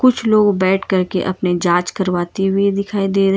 कुछ लोग बैठ करके अपने जांच करवाती हुई दिखाई दे रहे।